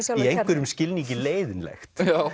einhverjum skilningi leiðinlegt